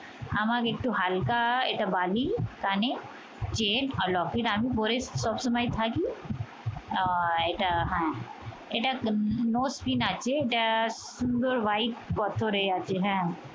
আমাকে একটু হালকা এটা বালি কানে চেইন আর লকেট আমি পরে সবসময় থাকি। আহ এটা হ্যাঁ এটা nose pin আছে। এটা সুন্দর white পাথরে আছে হ্যাঁ।